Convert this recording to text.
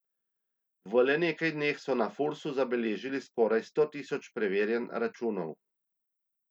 V le nekaj dneh so na Fursu zabeležili skoraj sto tisoč preverjanj računov.